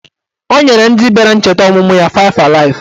Ọ nyere ndị bịara ncheta ọmụmụ ya faịv alaịf